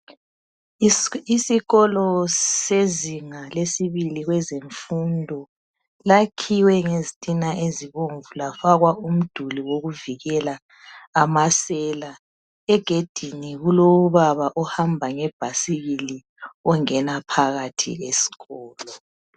Isikolo sezinga lesibili kwezemfundo lakhiwe ngezitina ezibomvu lafakwa umdluli wokuvikela amasela egedini kulobaba ohamba ngebhasikili ongena phakathi esikolo